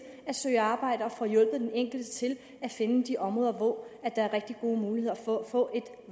at søge arbejde og får hjulpet den enkelte til at finde de områder hvor der er rigtig gode muligheder for at få et